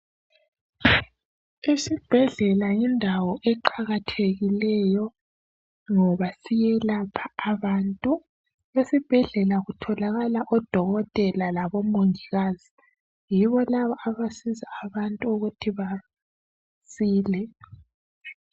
Isibhedlela yindawo eqakathekileyo ngoba iyelapha abantu , esibhedlela kutholakala odokotela labo mongikazi yibo laba abasiza abantu ukuba basile.